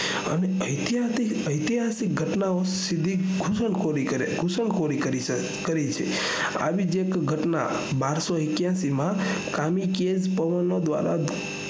ઐતિહસિક ઐતિહસિક ઘટનાઓ સીધી ઘુસણખોરી ઘુસણખોરી કરી કરી છે આવી ઘટના બારસો એક્યાસી માં કાલિએજ પવન દ્વારા